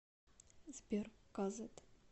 сбер казэт